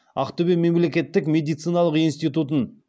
ақтөбе мемлекеттік медициналық институтын